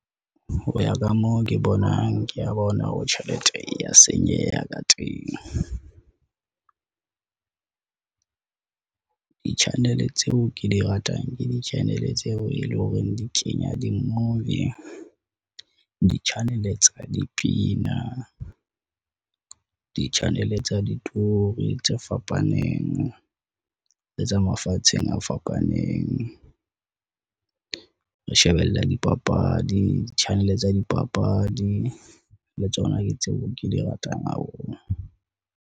Ho ya ka moo ke bonang ke ya bona hore tjhelete e ya senyeha ka teng. Di-channel tseo ke di ratang ke di-channel tseo e leng hore di kenya di-movie, di-channel hannel tsa dipina, di-channel tsa ditori tse fapaneng le tsa mafatsheng a fapaneng. Re shebella dipapadi, di-channel tsa dipapadi le tsona ke tseo ke di ratang haholo.